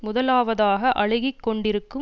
முதலாவதாக அழுகி கொண்டிருக்கும்